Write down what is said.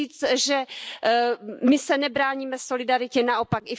Chci říci, že my se nebráníme solidaritě, naopak.